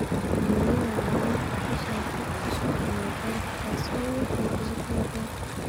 Xaniinyaha ayaa markaa ku soo urura beerka, taas oo wiiqaysa shaqada beerka.